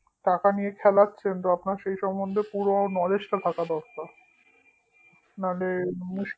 টাকা নিয়ে খেলাচ্ছেন তো আপনার সেই সম্বন্ধে পুরো knowledge টা থাকা দরকার নালে মুশকিল